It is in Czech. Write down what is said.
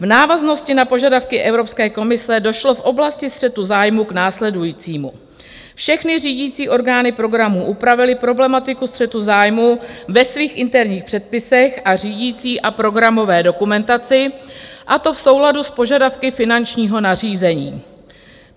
V návaznosti na požadavky Evropské komise došlo v oblasti střetu zájmů k následujícímu: Všechny řídící orgány programu upravily problematiku střetu zájmů ve svých interních předpisech a řídicí a programové dokumentaci, a to v souladu s požadavky finančního nařízení.